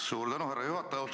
Suur tänu, härra juhataja!